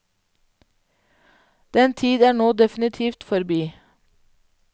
Den tid er nå definitivt forbi.